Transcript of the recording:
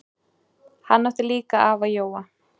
Hann átti líka afa Jóa.